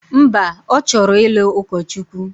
Mba, ọ chọrọ ịlụ ụkọchukwu.